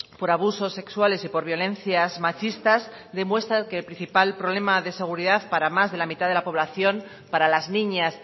por abusos sexuales y por violencias machistas demuestran que el principal problema de seguridad para más de la mitad de la población para las niñas